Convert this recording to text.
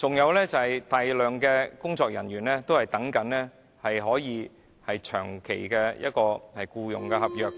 還有大量工作人員正在等候簽署長期僱員合約。